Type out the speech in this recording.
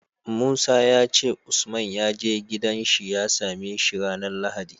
Musa yace usman yaje gidan shi ya same shi ranar lahadi